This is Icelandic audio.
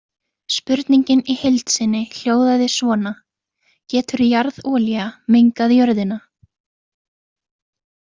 Spurningin í heild sinni hljóðaði svona: Getur jarðolía mengað jörðina?